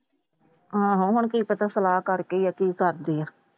ਹਾਂ ਹਾਂ ਉਹਨਾਂ ਨੂੰ ਪਤਾ ਸਲਾਹ ਕਰਦੀ ਏ ਕਿ ਕਰਦੀ।